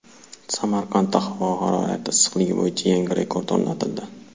Samarqandda havo harorati issiqligi bo‘yicha yangi rekord o‘rnatildi.